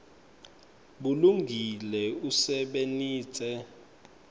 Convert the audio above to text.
bulungile usebenitse